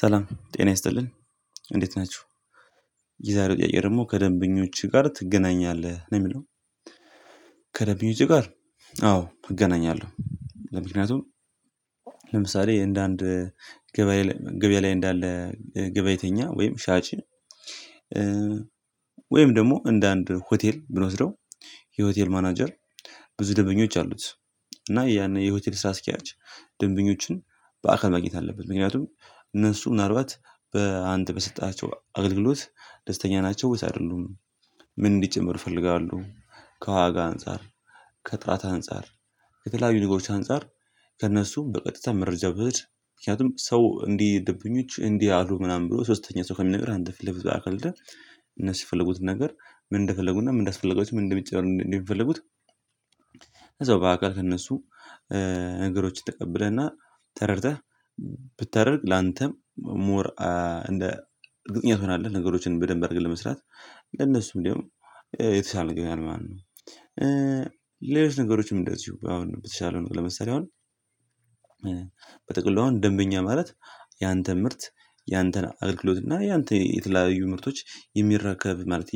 ሰላም ጤና ይስጥልን እንዴት ናችሁ የዛሬው ጥያቄ ደግሞ ከደንበኞችህ ጋር ትገናኛለህ ነው የሚለው? ከደንበኞቼ ጋር አዎ እገናኛለሁ። ምክንያቱም እንደ አንድ ገበያ ገበያ ላይ እንዳለ ገባይተኛ ወይም ሻጭ። ወይም ደግሞ እንደ አንድ ሆቴል ብንወስደው የሆቴል ማናጀር ብዙ ደንበኞች አሉት። እና ያንን የሆቴል ስራ አስኪያጅ ደንበኞችን በአካል ማግኘት አለበት ምክንያቱም እነሱ ምናልባት በአንተ በሰጠሃቸው አገልግሎት ደስተኛ ናቸው ውስጥ አይደሉም። ምን እንዲጨመር ይፈልጋሉ? ከዋጋ አንፃር ከጥራት አንፃር ከተለያዩ ነገሮች አንፃር ከእነሱም በቀጥታ መረጃ ብትወስድ ምክንያቱም ሰው እንዲህ ደብኞች እንዲህ አሉ ምናምን ብሎ ሶስተኛ ሰው ከሚነግርህ አንተ ፊት ለፊት በአካል ሄደህ እነሱ የፈለጉት ነገር ምን እንደፈለጉና ምን እንዳስፈለጋቸው ምን እንደሚጨመር እንደሚፈልጉት። ከዛው በአካል ከእነሱ ነገሮችን ተቀብለህና ተረድተህ ብታደርግ ላንተም ሞር እንደ እርግጠኛ ትሆናለህ ነገሮችን በደንብ አድርገህ ለመስራት ለነሱ እንዲያውም የተሻለ ነገር ይሆናል ማለት ነው። ነገሮችም እንደዚሁ አሁን በተሻለ ለመሳሪያ አሁን በጠቅላዋው ደንበኛ ማለት ያንተ ምርት ያንተን አገልግሎትና ያንተን የተለያዩ ምርቶች የሚረከብ ማለት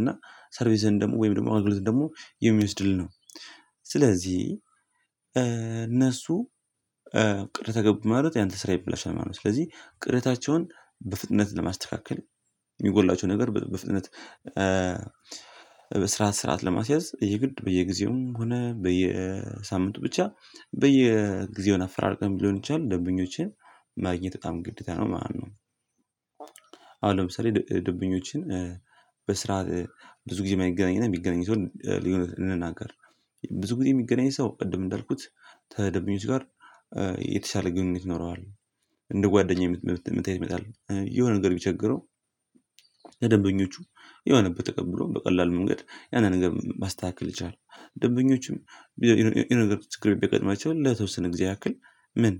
እና ሰርቪስን ደግሞ ወይም ደግሞ አጉልተን ደግሞ የሚወስድልን ነው። ስለዚህ እነሱ ቅሬታ ገቡ ማለት ያንተ ስራ ይበላሻል ማለት ነው ስለዚህ ቅሬታቸውን በፍጥነት ለማስተካከል። የሚጎድላቸው ነገር በፍጥነት ስርዓት ስርዓት ለማስያዝ የግድ በየጊዜውም ሆነ በየሳምንቱ ብቻ በየጊዜው አፈራርቀን ሊሆን ይችላል ደንበኞችን ማግኘት በጣም ግዴታ ነው። ማነው? አሁን ለምሳሌ ደምበኞችን በስራ ብዙ ጊዜ የማይገናኘን የሚገናኝ ሰው ልናገር ብዙ ጊዜ የሚገናኝ ሰው ቅድም እንዳልኩት ከደምበኞች ጋር የተሻለ ግንኙነት ይኖረዋል። እንደ ጓደኛዬ ምት መታየት ይመጣል የሆነ ነገር ቢቸግረው። ደንበኞቹ የሆነ በተቀበለው በቀላሉ መንገድ ያንን ነገር ማስተካከል የቻለው ደንበኞችም ይሄ ነገር ትክክል ቢቀጥማቸው ለተወሰነ ጊዜ ያክል ምን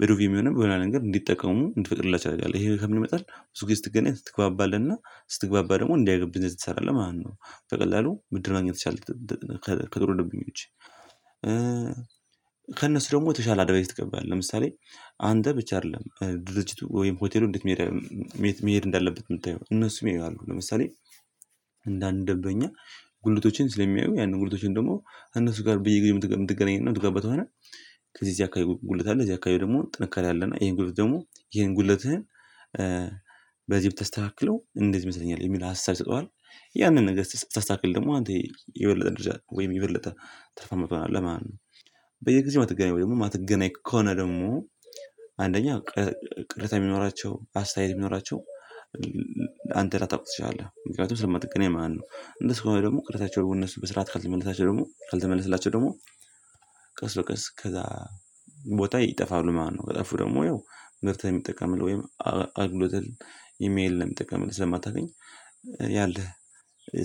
በዶቪ የሚሆነው በኋላ ነገር እንዲጠቀሙ እንድትፈጥርላቸው ያደርጋል ይሄ ከምንመጣው ብዙ ጊዜ ስትገናኝ ስትግባባልና ስትግባባ ደግሞ እንዲህ አይገብም የት ትሰራለህ ማለት ነው። ከቀላሉ ምድር ማግኘት ትችላለህ ከጥሩ ደንበኞች። ከእነሱ ደግሞ ተሻለ አድቫይስ ትገባለህ ለምሳሌ አንተ ብቻ አይደለም ድርጅቱ ወይም ሆቴሉ እንዴት? መሄድ መሄድ እንዳለበት የምታየው እነሱም ያያሉ። ለምሳሌ አንዳንድ ደብረኛ ጉልቶቼን ስለሚያዩ ያንን ጉልቶቼን ደግሞ እነሱ ጋር ብዬ ግን የምትገናኘን ነው የምትገባው። ከዚህ እዚህ አካባቢ ጉልት አለ እዚህ አካባቢ ደግሞ ጥንካሬ አለ እና ይሄን ጉድለት ደግሞ ይሄን ጉድለትህን። በዚህ ብታስተካክለው እንዴት ይመስለኛል የሚል ሀሳብ ይሰጡሀል። ያንን ነገር ስታስተካክል ደግሞ አንተ የበለጠ ወይም የበለጠ ትርፋማ ትሆናለህ ማለት ነው። በየጊዜው ማትገናኝ ወይ ደግሞ ማትገናኝ ከሆነ ደግሞ አንደኛ ቅሬታ ቢኖራቸው አስተያየት ቢኖራቸው። አንተ ላታውቅ ትችላለህ ምክንያቱም ስል መጠቀም የማን ነው እንደስ ከሆነ ደግሞ ቅርታቸው የሆነ ስራት ካልተመለሳቸው ደግሞ ካልተመለሰላቸው ደግሞ ቀስ በቀስ ከዛ ይጠፋሉ ማለት ነው። ከጠፉ ደግሞ ወይ ምርት የሚጠቀምልህ ወይም የአገልግሎት የሚያይልህ ስለማታገኝ ያለህ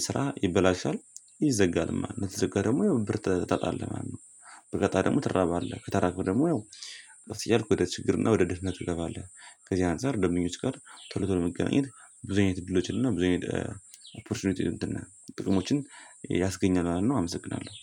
ስራ ይበላሻል ይዘጋል ማለት ከተዘጋ ደግሞ ብር ታጣለህ ማለት ነው። በቀጣይ ደግሞ ትራባለህ ከተራከው ደግሞ ያው እያልኩ ወደ ችግርና ወደ ደህንነቱ ገባለህ ከዚህ አንፃር ደምኞች ጋር ቶሎ ቶሎ መገናኘት ብዙ አይነት ድሎ ይችላል። ብዙ አይነት ኦፖርቹኒቲ ጥቅሞችን ያስገኛል ማለት ነው። አመሰግናለሁ